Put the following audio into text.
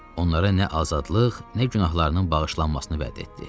Onlara nə azadlıq, nə günahlarının bağışlanmasını vəd etdi.